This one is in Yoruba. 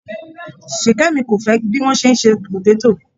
Ṣìkẹ́mi fẹ́ kọ́ bí wọ́n ṣe ń se pòtétò.